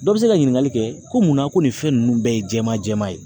Dɔ bɛ se ka ɲiningali kɛ ko mun na ko nin fɛn ninnu bɛɛ ye jɛman jɛman ye